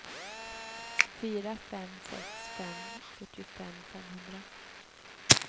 fyra fem sex fem fyrtiofem femhundra